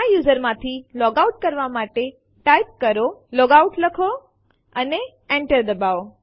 આ યુઝર માંથી લૉગઆઉટ કરવા માટે ટાઇપ કરોlogout લખો અને Enter દબાવો